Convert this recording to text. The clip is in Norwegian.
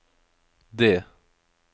D